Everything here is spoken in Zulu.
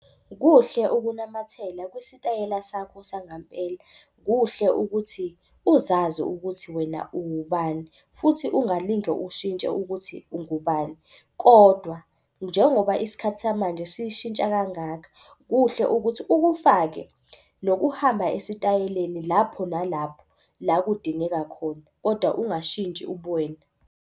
Kuhle ukunamathela kwisitayela sakho sangampela. Kuhle ukuthi uzazi ukuthi wena ungubani futhi ungalinge ushintshe ukuthi ungubani. Kodwa njengoba isikhathi samanje sishintsha kangaka, kuhle ukuthi ukufake nokuhamba esitayeleni. Lapho nalapho la kudingeka khona kodwa ungashintshi ubuwena.